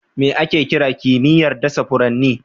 Me ake kira kimiyyar dasa furanni?